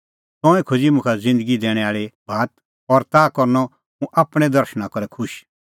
तंऐं खोज़ी मुखा ज़िन्दगी दैणैं आल़ी बात और ताह करनअ हुंह आपणैं दर्शणा करै खुश